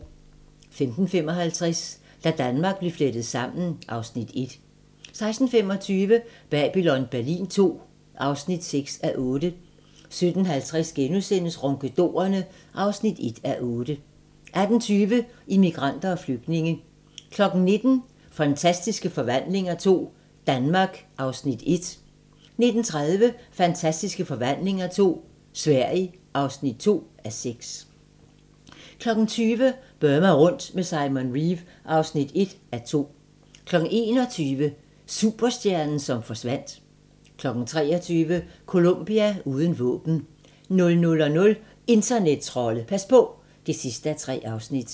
15:55: Da Danmark blev flettet sammen (Afs. 1) 16:25: Babylon Berlin II (6:8) 17:50: Ronkedorerne (1:8)* 18:20: Immigranter og flygtninge 19:00: Fantastiske forvandlinger II – Danmark (1:6) 19:30: Fantastiske forvandlinger II – Sverige (2:6) 20:00: Burma rundt med Simon Reeve (1:2) 21:00: Superstjernen som forsvandt 23:00: Colombia uden våben 00:00: Internettrolde – pas på! (3:3)